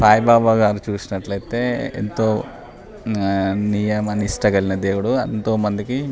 సాయి బాబా గారిని చూసి నట్లైతే ఎంతో ఆ నియమ నిస్తాలు కలిగిన దేవుడు ఎంతో మందికి --